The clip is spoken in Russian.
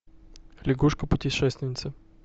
лягушка путешественница